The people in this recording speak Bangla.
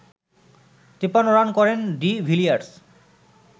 ৫৩ রান করেন ডি ভিলিয়ার্স